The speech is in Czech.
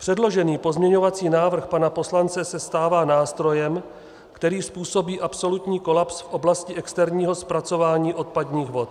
Předložený pozměňovací návrh pana poslance se stává nástrojem, který způsobí absolutní kolaps v oblasti externího zpracování odpadních vod.